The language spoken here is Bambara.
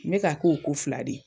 N be k'a k'o ko fila de.